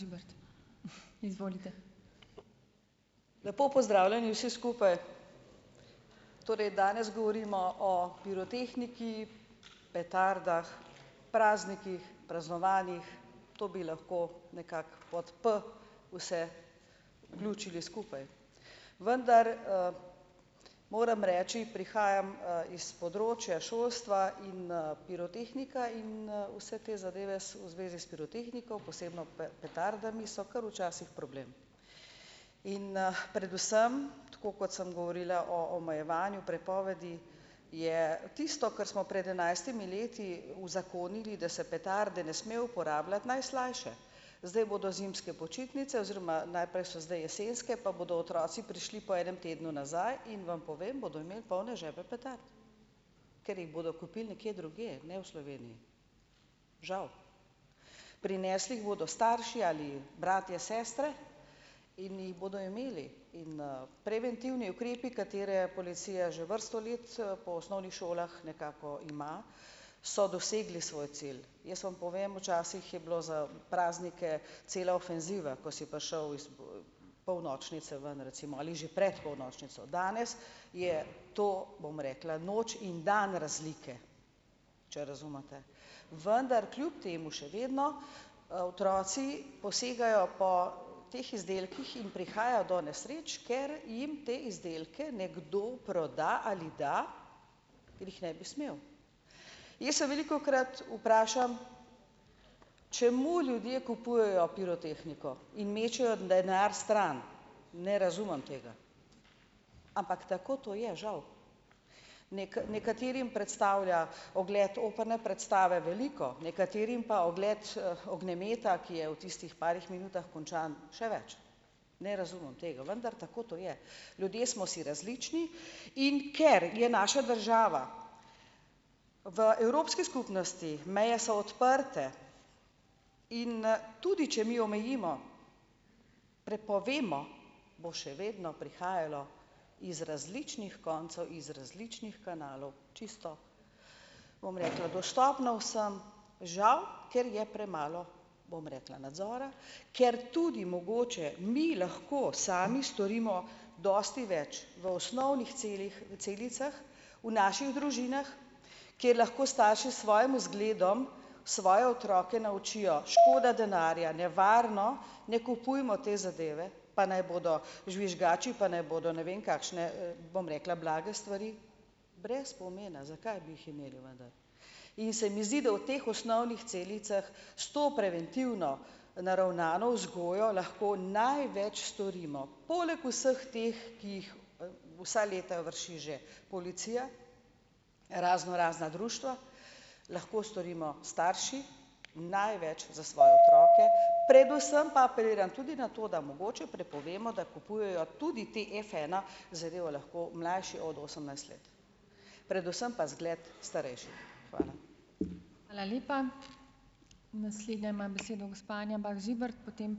Lepo pozdravljeni vsi skupaj! Torej danes govorimo o pirotehniki, petardah, praznikih, praznovanjih. To bi lahko nekako pod "p" vse vključili skupaj. Vendar, moram reči, prihajam, iz področja šolstva in pirotehnika in vse te zadeve v zvezi s pirotehniko, posebno petardami so kar včasih problem. In predvsem tako, kot sem govorila o omejevanju prepovedi, je tisto, kar smo pred enajstimi leti uzakonili, da se petarde ne sme uporabljati, najslajše. Zdaj bodo zimske počitnice oziroma najprej so zdaj jesenske, pa bodo otroci prišli po enem tednu nazaj, in vam povem, bodo imeli polne žepe petard, ker jih bodo kupili nekje drugje, ne v Sloveniji. Žal. Prinesli jih bodo starši ali bratje, sestre in jih bodo imeli in preventivni ukrepi, katere policija že vrsto let po osnovnih šolah nekako ima, so dosegli svoj cilj. Jaz vam povem včasih je bilo za praznike cela ofenziva, ko si prišel iz, polnočnice ven recimo ali že pred polnočnico. Danes je to, bom rekla, noč in dan razlike, če razumete. Vendar kljub temu še vedno, otroci posegajo po teh izdelkih in prihaja do nesreč, ker jim te izdelke nekdo proda ali da, ker jih ne bi smel. Jaz se velikokrat vprašam, čemu ljudje kupujejo pirotehniko in mečejo denar stran, ne razumem tega. Ampak tako to je, žal nekaterim predstavlja ogled operne predstave veliko, nekaterim pa ogled ognjemeta, ki je v tistih parih minutah končan, še več - ne razumem tega. Vendar tako to je. Ljudje smo si različni, in ker je naša država v evropski skupnosti, meje so odprte, in tudi če mi omejimo, prepovemo, bo še vedno prihajalo iz različnih koncev, iz različnih kanalov čisto, bom rekla dostopno vsem, žal, ker je premalo, bom rekla, nadzora, ker tudi mogoče mi lahko sami storimo dosti več v osnovnih celicah v naših družinah, kjer lahko starši s svojim vzgledom svoje otroke naučijo: škoda denarja, nevarno, ne kupujmo te zadeve, pa naj bodo žvižgači, pa naj bodo ne vem kakšne, bom rekla, blage stvari, brez pomena, zakaj bi jih imeli vendar. In se mi zdi, da v teh osnovnih celicah s to preventivno naravnano vzgojo lahko največ storimo, poleg vseh teh, ki jih vsa leta vrši že policija, raznorazna društva, lahko storimo starši največ za svoje otroke, predvsem pa apeliram tudi na to, da mogoče prepovemo, da kupujejo tudi te Fena zadeve lahko mlajši od osemnajst let, predvsem pa zgled starejših. Hvala.